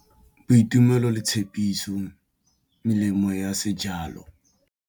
Boitumelo le tshepiso le melemo a sejalo.